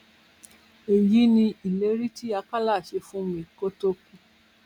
èyí ni ìlérí tí àkàlà ṣe fún mi kó tóó kú